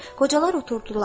Qocalar oturdular.